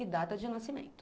e data de nascimento.